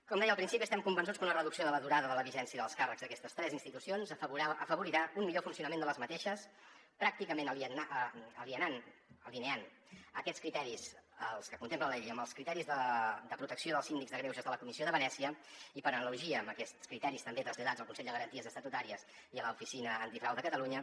com deia al principi estem convençuts que una reducció de la durada de la vigència dels càrrecs d’aquestes tres institucions afavorirà un millor funcionament d’aquestes pràcticament alineant aquests criteris els que contempla la llei amb els criteris de protecció dels síndics de greuges de la comissió de venècia i per analogia amb aquests criteris també traslladats al consell de garanties estatutàries i a l’oficina antifrau de catalunya